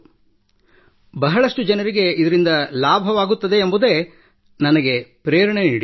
ಅದರಿಂದ ಬಹಳಷ್ಟು ಜನರಿಗೆ ಇದರಿಂದ ಲಾಭವಾಗುತ್ತದೆ ಎಂಬುದೇ ನನಗೆ ಪ್ರೇರಣೆ ನೀಡಿತು